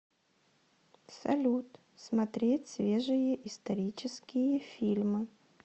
салют смотреть свежие исторические фильмы